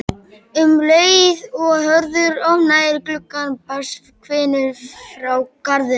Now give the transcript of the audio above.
Um leið og Hörður opnaði gluggann barst hvinur frá garðinum.